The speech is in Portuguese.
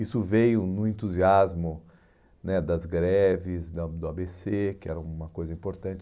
Isso veio no entusiasmo né das greves, do do á bê cê, que era uma coisa importante.